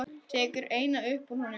Tekur eina upp úr honum.